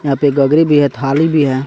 यहाँ पे एक गगरी भी हे। थाली भी है।